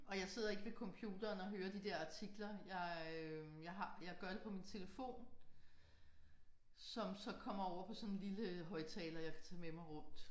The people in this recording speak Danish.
Og jeg sidder ikke ved computeren og hører de der artikler jeg jeg har jeg gør det på min telefon som så kommer over på sådan en lille højtaler jeg kan tage med mig rundt